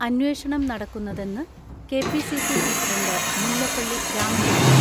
അന്വേഷണം നടക്കുന്നതെന്ന് കെ.പി.സി.സി പ്രസിഡന്റ് മുല്ലപ്പള്ളി രാമചന്ദ്രൻ.